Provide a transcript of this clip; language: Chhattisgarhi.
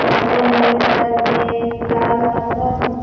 लड़का मन करत हे लाल कपड़ा पहिन --